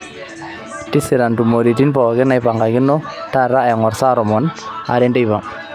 tisira ntumoritin pooki naipangakino taata eng'or saa tomon aare teipa